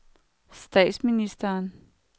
statsministeren